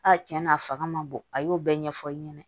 A tiɲɛ na a fanga ma bon a y'o bɛɛ ɲɛfɔ i ɲɛna